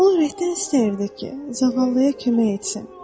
O ürəkdən istəyirdi ki, zağallıya kömək etsin.